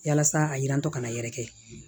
Yalasa a yirantɔ kana yɛrɛ kɛ